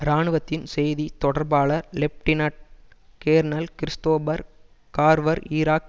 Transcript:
இராணுவத்தின் செய்தி தொடர்பாளர் lieutenant colonel Christopher Carver Iraq